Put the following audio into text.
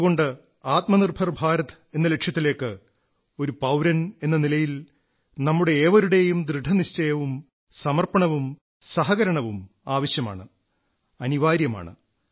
അതുകൊണ്ട് ആത്മനിർഭർ ഭാരത് എന്ന ലക്ഷ്യത്തിലേക്ക് ഒരു പൌരനെന്ന നിലയിൽ നമ്മുടെ ഏവരുടെയും ദൃഢനിശ്ചയവും സമർപ്പണവും സഹകരണവും ആവശ്യമാണ് അനിവാര്യമാണ്